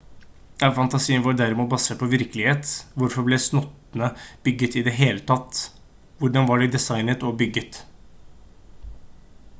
er fantasien vår derimot basert på virkelighet hvorfor ble slottene bygget i det hele tatt hvordan var de designet og bygget